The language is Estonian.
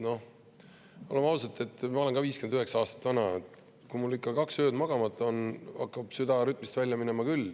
Noh, ütleme ausalt, ma olen 59 aastat vana ja kui ma olen ikka kaks ööd magamata, siis mul hakkab süda rütmist välja minema küll.